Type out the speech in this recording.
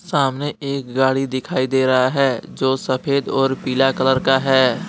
सामने एक गाड़ी दिखाई दे रहा है जो सफेद और पीला कलर का है।